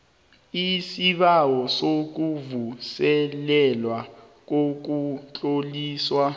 isibawo sokuvuselelwa kokutloliswa